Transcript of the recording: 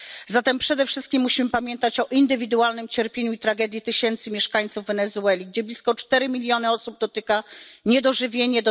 Zatem przede wszystkim musimy pamiętać o indywidualnym cierpieniu i tragedii tysięcy mieszkańców Wenezueli, gdzie blisko czterech milionów osób dotyka niedożywienie.